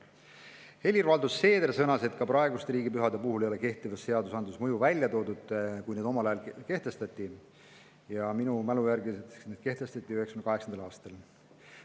Helir-Valdor Seeder sõnas, et kui praegused riigipühad omal ajal kehtestati, ei toodud kehtivas seadusandluses selle mõjusid välja, minu mälu järgi kehtestati need 1998. aastal.